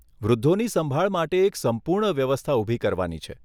વૃદ્ધોની સંભાળ માટે એક સંપૂર્ણ વ્યવસ્થા ઊભી કરવાની છે.